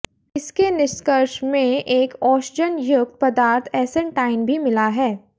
इसके निष्कर्ष में एक ओषजन युक्त पदार्थ ऐसेण्टाइन भी मिला है